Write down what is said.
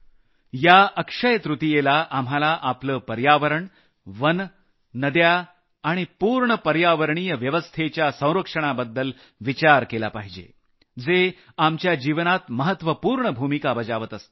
या अक्षय तृतीयेला आम्हाला आपलं पर्यावरण वनं नद्या आणि पूर्ण पर्यावरणीय व्यवस्थेच्या संरक्षणाबद्दल विचार केला पाहिजे जे आपल्या जीवनात महत्वपूर्ण भूमिका बजावत असतात